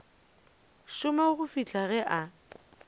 šoma go fihla ge a